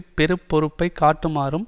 பெரு பொறுப்பை காட்டுமாறும்